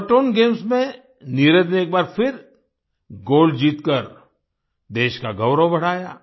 Kuortane games में नीरज ने एक बार फिर गोल्ड जीतकर देश का गौरव बढ़ाया